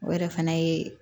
O yɛrɛ fana ye